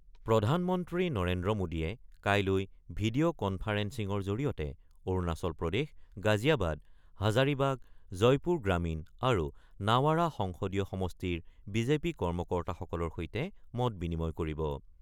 প্ৰধানমন্ত্ৰী নৰেন্দ্ৰ মোডীয়ে কাইলৈ ভিডিঅ' কনফাৰেন্সিঙৰ জৰিয়তে অৰুণাচল প্ৰদেশ, গাজিয়াবাদ, হাজাৰিবাগ, জয়পুৰ গ্ৰামীণ আৰু নাৱাৰা সংসদীয় সমষ্টিৰ বিজেপিৰ কৰ্মকৰ্তাসকলৰ সৈতে মত-বিনিময় কৰিব।